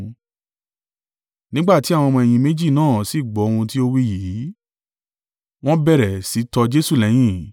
Nígbà tí àwọn ọmọ-ẹ̀yìn méjì náà sì gbọ́ ohun tí ó wí yìí, wọ́n bẹ̀rẹ̀ sì í tọ Jesu lẹ́yìn.